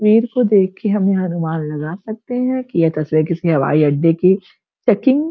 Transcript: भीर को देखके हम अनुमान लगा सकते हैं की ये तस्वीर किसी हवाई अड्डे की चेकिंग --